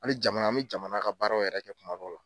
Hali jamana an bɛ jamana ka baaraw yɛrɛ kɛ kuma dɔw la.